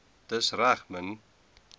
dis reg min